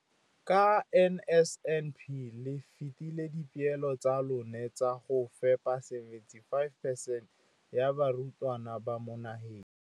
Ka NSNP le fetile dipeelo tsa lona tsa go fepa masome a supa le botlhano a diperesente ya barutwana ba mo nageng.